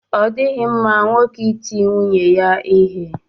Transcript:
Ọ dịghị mma nwoke iti nwunye ya ihe.